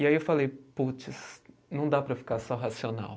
E aí eu falei, puts, não dá para ficar só racional.